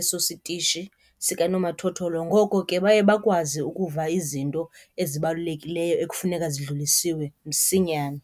eso sitishi sikanomathotholo, ngoko ke baye bakwazi ukuva izinto ezibalulekileyo ekufuneka zidlulisiwe msinyane.